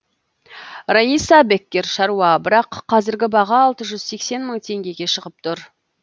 раиса беккер шаруа бірақ қазіргі баға алты жүз сексен мың теңгеге шығып тұр